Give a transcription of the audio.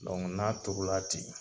Dɔnku n'a tuuru la ten.